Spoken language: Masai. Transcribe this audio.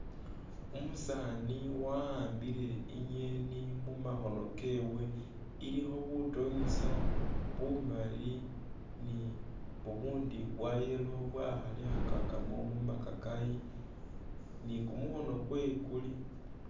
Umusaani wahambile i'ngeeni mumakhono kewe, ilikho butonyisa bumali ni bubu bwa yellow bwakhalikhakakamu mu makakayi ni kukhono kwe kuli...